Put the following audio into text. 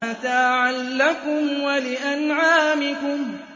مَتَاعًا لَّكُمْ وَلِأَنْعَامِكُمْ